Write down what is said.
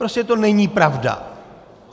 Prostě to není pravda.